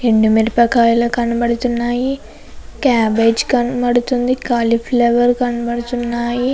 ఎండు మిరపకాయలు కనబడుతున్నాయి. క్యాబేజీ కనబడుతుంది. ముందు కాలీఫ్లవర్ కనబడుతున్నాయి.